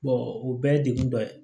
o bɛɛ ye degun dɔ ye